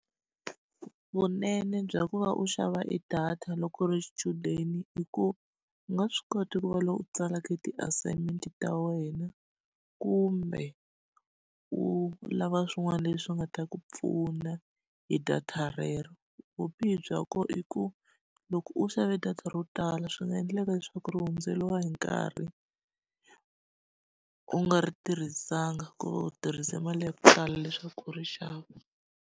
Vunene bya ku va u xava e data loko u ri xichudeni i ku, u nga swi kota ku va loyi u tsalaka ti-assignment-i ta wena, kumbe u lava swin'wana leswi nga ta ku pfuna hi data rero. Vubihi bya kona i ku, loko u xave data ro tala swi nga endleka leswaku ri hundzeriwa hi nkarhi u nga ri tirhisanga ku va u tirhise mali ya ku tala leswaku u ri xava.